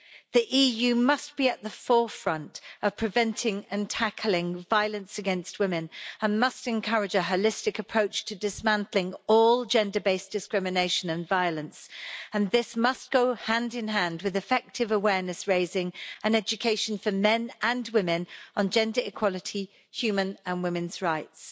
The EU must be at the forefront of preventing and tackling violence against women and must encourage a holistic approach to dismantling all gender based discrimination and violence, and this must go hand in hand with effective awareness raising and education for men and women on gender equality and human and women's rights.